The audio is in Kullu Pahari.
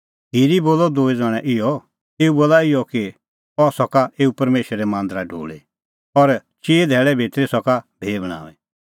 खिरी बोलअ दूई ज़ण्हैं इहअ एऊ बोलअ इहअ कि अह सका एऊ परमेशरे मांदरा ढोल़ी और चिई धैल़ै भितरी सका भी बणांईं